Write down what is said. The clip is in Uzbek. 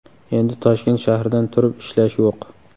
Endi Toshkent shahridan turib ishlash yo‘q!